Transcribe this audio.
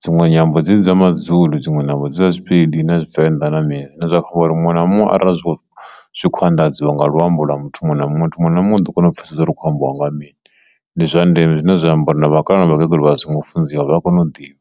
dzinwe nyambo dza mazulu dziṅwe navho dza zwipedi na tshivenḓa na mini zwine zwa kha uri muṅwe na muṅwe arali zwi tshi kho zwi khou anḓadziwa nga luambo lwa muthu muṅwe na muṅwe muthu muṅwe na muṅwe u ḓo kona u pfhesesa zwori hu kho ambiwa nga ha mini ndi zwa ndeme zwine zwa amba uri vhakalaa na vhakegulu vha a zwingo funziwa vha kone u ḓivha.